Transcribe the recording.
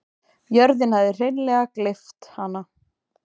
Jörðin hafði hreinleg gleypt hana.